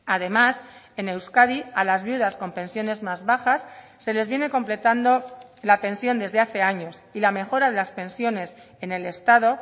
además en euskadi a las viudas con pensiones más bajas se les viene completando la pensión desde hace años y la mejora de las pensiones en el estado